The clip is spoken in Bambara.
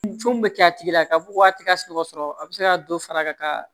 Jo min bɛ kɛ a tigi la ka fɔ ko a ti ka sunɔgɔ sɔrɔ a be se ka dɔ fara a ka